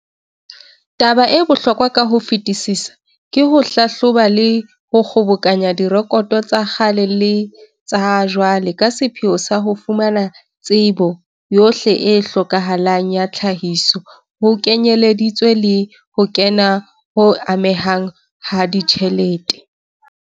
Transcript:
Taba e bohlokwa ka ho fetisisa ke ho hlahloba le ho kgobokanya direkoto tsa kgale le tsa jwale ka sepheo sa ho fumana tsebo yohle e hlokahalang ya tlhahiso ho kenyelleditswe le ho kena ho amehang ha ditjhelete.